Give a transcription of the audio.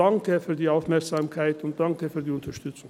Danke für die Aufmerksamkeit und danke für die Unterstützung.